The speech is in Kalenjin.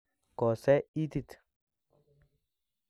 Kosew itit